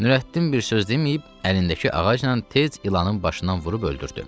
Nurəddin bir söz deməyib, əlindəki ağacla tez ilanın başından vurub öldürdü.